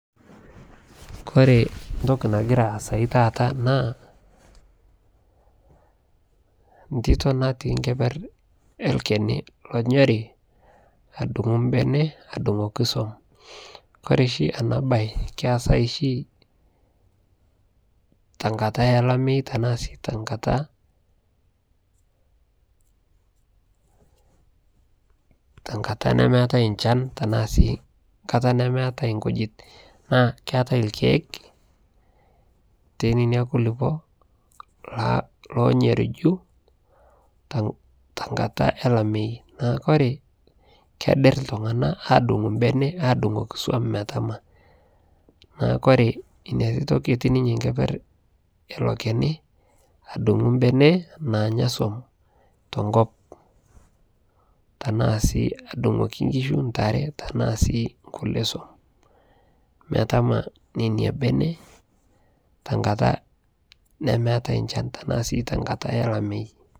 kore ntokii nagiraa aasai taata naa ntitoo natii nkeper ee lkeni lonyorii adunguu mbenee adungokii som. Kore shi anaa bai keasai shii tankataa elameyuu tanaa sii tenkataa nemeatai nchan, tanaa sii nkataa nemeatai nkujit naakeatai lkeek tenenia kulipoo lonyorujuu tankataa elameyii naa kore kedir ltunganak adunguu mbenee adungokii som metamaa. Naaku kore inia titoo ketii ninyee nkeper eiloo kenii adunguu mbenee nanyaa som tonkop, tanaa sii adungokii nkishuu ntaree tanaa sii nkulie som, metamaa nenia benee tankataa nemeatai nchan tanaa sii tankataa elameyii.